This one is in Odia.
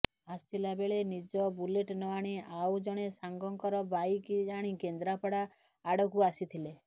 ଆସିଲା ବେଳେ ନିଜ ବୁଲେଟ୍ ନ ଆଣି ଆଉ ଜଣେ ସାଙ୍ଗଙ୍କର ବାଇକ୍ ଆଣି କେନ୍ଦ୍ରାପଡ଼ା ଆଡ଼କୁ ଆସିଥିଲେ